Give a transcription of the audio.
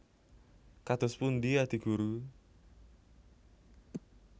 Kados pundi Adi Guru